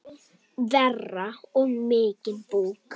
Og mikinn búk.